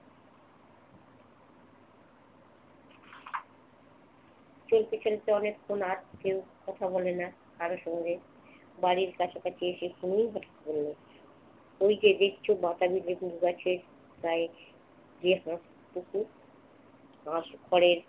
চলতে চলতে অনেকক্ষণ আর কেউ কথা বলে না কারো সঙ্গে। বাড়ির কাছাকাছি এসে শুভই বলল, ওই যে দেখছো বাতাবি লেবুর গাছে প্রায় বাস ঘরের